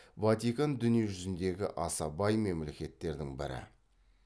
ватикан дүние жүзіндегі аса бай мемлекеттердің бірі